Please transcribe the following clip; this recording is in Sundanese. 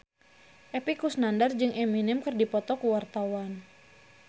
Epy Kusnandar jeung Eminem keur dipoto ku wartawan